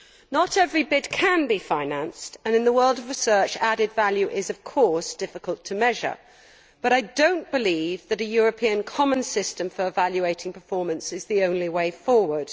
Not every bid can be financed, and in the world of research, added value is, of course, difficult to measure, but I do not believe that a common European system for evaluating performance is the only way forward.